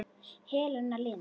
Helena Lind.